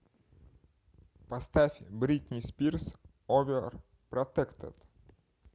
поставь бритни спирс оверпротектед